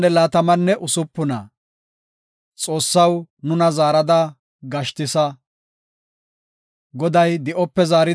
Goday di7ope zaaridi nuna Xiyoone ehida wode nuus amuho daanis.